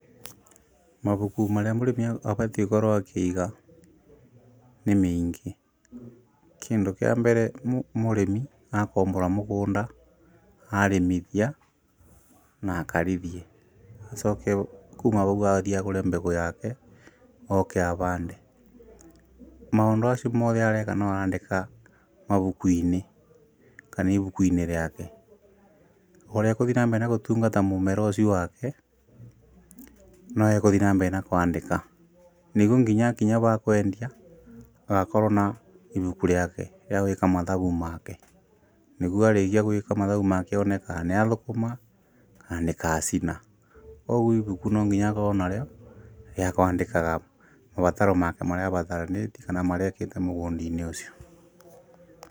Mabuku marĩa mũrĩmi abatiĩ gũkorwo akĩiga nĩ mĩingi. Kĩndũ kĩa mbere mũrĩmi akombora mũgũnda, arĩmithia na akarithie acoke kuuma ũguo athiĩ agũre mbegũ yake oke abande. Maũndũ acio mothe areka nĩarandĩka mabuku-inĩ kana ibuku-inĩ rĩake. Ũrĩa agũthiĩ na mbere gũtungata mũmera ũcio wake, no agũthiĩ na mbere kũandĩka, nĩguo nginya akinya ba kwendia akorwo na ibuku rĩake rĩagwĩka mathabu make, nĩguo arĩkia gũika mathabu make, one kana nĩathũkũma kana nĩkacina, ũguo ibuku no nginya akorwo narĩo rĩa kũandĩkaga mabataro make marĩa mabataranĩtie na marĩa ekĩte mũgũnda-inĩ ũcio.